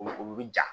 O o bɛ ja